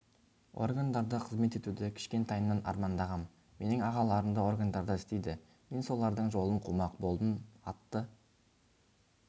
органдарда қызмет етуді кішкентайымнан армандағам менің ағаларым да органдарда істейді мен солардың жолын қумақ болдым атты